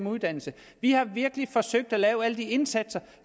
uddannelse vi har virkelig forsøgt at lave alle de indsatser